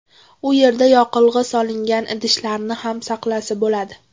U yerda yoqilg‘i solingan idishlarni ham saqlasa bo‘ladi.